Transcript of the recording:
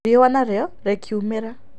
Riũwa nario rĩ kiumĩra.